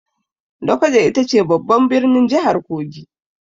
Lokoja ita ce babban birnin jihar Kogi.